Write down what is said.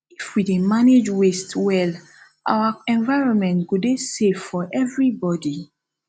if we dey manage waste well our environment go dey safe for everybody